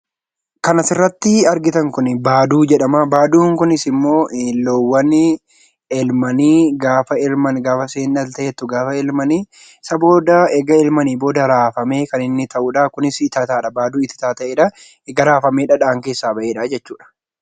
Kan asirratti argitan Kun, baaduu jedhama. Baaduun kunis immoo loowwanii elmanii gaafa elman gaafa isheen dhaltee gaafa elmanii isa booda erga elmanii booda raafamee kan inni ta'uudha. Kunis ititaadhaa erga raafamee dhadhaan keessaa bahedha jechuudha.